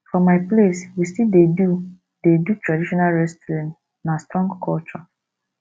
for my place we still dey do dey do traditional wrestling na strong culture